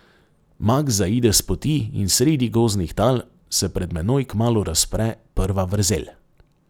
Maks zaide s poti in sredi gozdnih tal se pred menoj kmalu razpre prva vrzel.